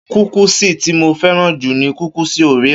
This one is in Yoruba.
Kúkìsì tí mo fẹ́ràn jù ni kúkùsì Orea.